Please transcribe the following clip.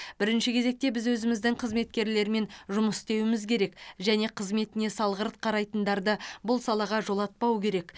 бірінші кезекте біз өзіміздің қызметкерлермен жұмыс істеуіміз керек және қызметіне салғырт қарайтындарды бұл салаға жолатпау керек